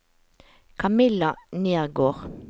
Kamilla Nergård